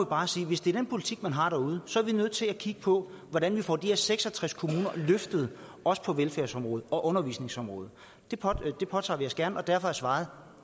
bare sige at hvis det er den politik man har derude så er vi nødt til at kigge på hvordan vi får de her seks og tres kommuner løftet også på velfærdsområdet og undervisningsområdet det påtager vi os gerne og derfor er svaret